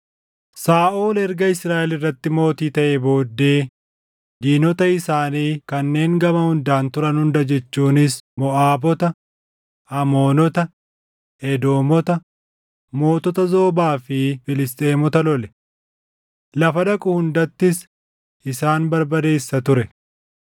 Saaʼol erga Israaʼel irratti mootii taʼee booddee diinota isaanii kanneen gama hundaan turan hunda jechuunis Moʼaabota, Amoonota, Edoomota, Mootota Zoobaa fi Filisxeemota lole. Lafa dhaqu hundattis isaan barbadeessa ture.